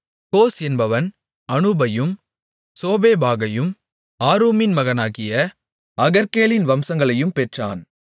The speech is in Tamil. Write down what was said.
கோஸ் என்பவன் அனூபையும் சோபேபாகையும் ஆருமின் மகனாகிய அகர்கேலின் வம்சங்களையும் பெற்றான்